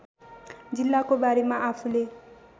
जिल्लाको बारेमा आफूले